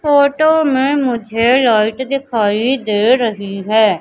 Photo में मुझे light दिखाई दे रही है।